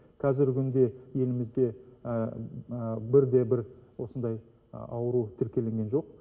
қазіргі күнде елімізде бірде бір осындай ауру тіркелінген жоқ